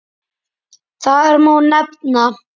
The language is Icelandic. Þar má nefna